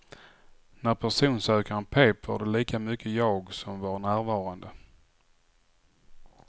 När personsökaren pep var det lika mycket jag som var närvarande.